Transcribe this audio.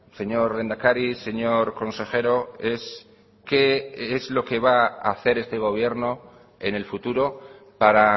señor lehendakari señor consejero es qué es lo que va a hacer este gobierno en el futuro para